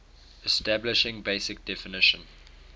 establishing basic definition